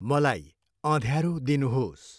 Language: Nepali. मलाई अँध्यारो दिनुहोस्।